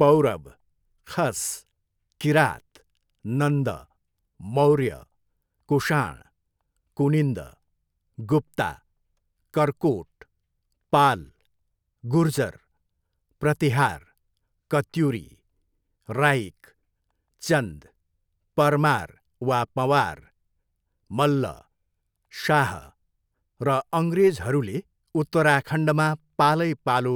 पौरव, खस, किरात, नन्द, मौर्य, कुषाण, कुनिन्द, गुप्ता, कर्कोट, पाल, गुर्जर, प्रतिहार, कत्युरी, राइक, चन्द, परमार वा पँवार, मल्ल, शाह र अङ्ग्रेजहरूले उत्तराखण्डमा पालैपालो